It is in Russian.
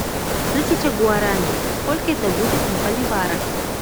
тысяча гуарани сколько это будет в боливарах